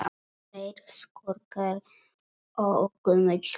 Tveir skúrkar og gömul kona